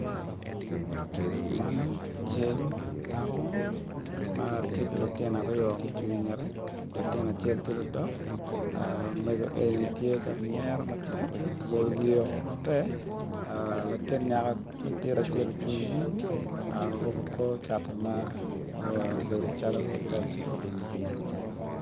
Man cal dako ma ti ki lutino ariyo mucung i ngette latin acel ti ludok mego eni ti ka nyero matek oboyo wiyeo maber latin nyako matin acel ocung i nyimgi and oruku kor cati ma obedo calo te oceyo